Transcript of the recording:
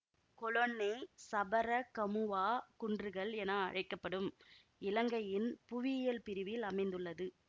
கொலொன்னை Sabaragamuwa குன்றுகள் என அழைக்க படும் இலங்கையின் புவியியல் பிரிவில் அமைந்துள்ளது